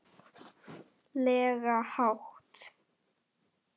lega hátt.